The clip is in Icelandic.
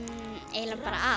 eiginlega bara